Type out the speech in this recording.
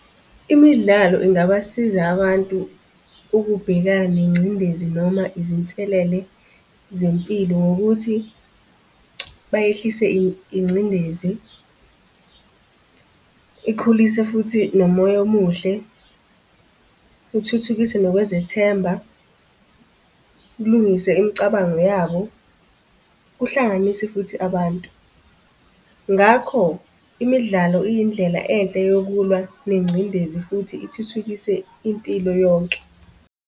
Imidlalo ingabasiza abantu ukubhekana nengcindezi noma izinselele zempilo ngokuthi bayehlise ingcindezi. Ikhulise futhi nomoya omuhle, kuthuthukise nokwezethemba, kulungise imicabango yabo, kuhlanganise futhi abantu. Ngakho imidlalo iyindlela enhle yokulwa nengcindezi futhi ithuthukise impilo yonke.